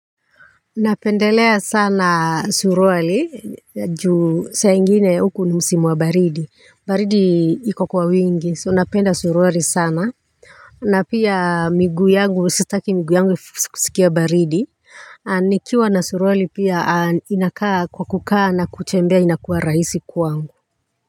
Napendelea sana suruali juu saa ingine huku ni msimu wa baridi baridi iko kwa wingi so napenda suruali sana na pia miguu yangu sitaki miguu yangu kusikia baridi. Nikiwa na suruali pia inakaa kwa kukaa na kutembea inakuwa rahisi kwangu.